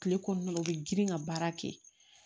Kile kɔnɔna la u bɛ girin ka baara kɛ